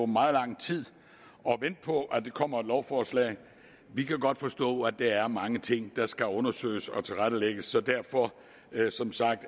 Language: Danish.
meget lang tid at vente på at der kommer et lovforslag vi kan godt forstå at der er mange ting der skal undersøges og tilrettelægges så derfor er vi som sagt